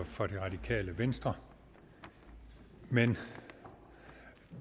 for det radikale venstre men